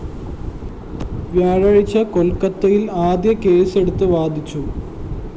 വ്യാഴാഴ്ച കൊല്‍ക്കത്തയില്‍ ആദ്യ കേസും എടുത്ത്‌ വാദിച്ചു